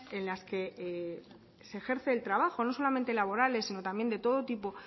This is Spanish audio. en las que se ejerce el trabajo no solamente laborales sino también de todo tipo